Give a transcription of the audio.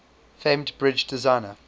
famed bridge designer